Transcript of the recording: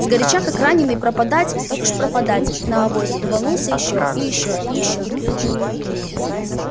сгоряча как раненый пропадать так уж пропадать на авось рванулся ещё и ещё и ещё